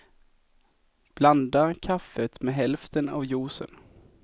Blanda kaffet med hälften av juicen.